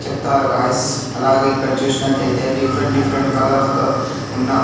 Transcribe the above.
చెప్తారు గాయ్స్ అలాగే ఇక్కడ చూసినట్లు అయితే డిఫరెంట్ డిఫరెంట్ కలర్స్ తో ఉన్న --